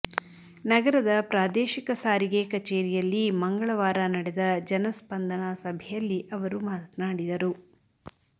ನಗರದ ಪ್ರಾದೇಶಿಕ ಸಾರಿಗೆ ಕಚೇರಿಯಲ್ಲಿ ಮಂಗಳವಾರ ನಡೆದ ಜನಸ್ಪಂದನ ಸಭೆಯಲ್ಲಿ ಅವರು ಮಾತನಾಡಿದರು